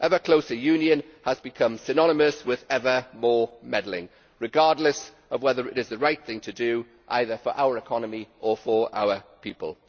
Ever closer union has become synonymous with ever more meddling regardless of whether it is the right thing to do, either for our economy or for our people.